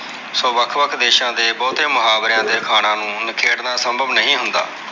ਸੋ ਵੱਖ-ਵੱਖ ਦੇਸਾਂ ਦੇ ਬਹੁਤੇ ਮੁਹਾਵਰਿਆਂ ਦੇ ਅਖਾਣਾ ਨੂੰ ਨਖੇੜਨਾ ਸੰਭਵ ਨਹੀਂ ਹੁੰਦਾ।